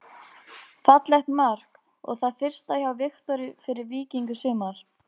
Fallegt mark og það fyrsta hjá Viktori fyrir Víking í sumar.